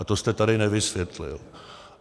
A to jste tady nevysvětlil.